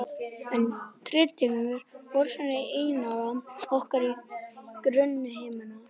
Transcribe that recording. En titringur vökvans í inneyra orkar á grunnhimnuna.